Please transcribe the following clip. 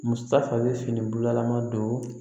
Muso ta fana bɛ finila ma don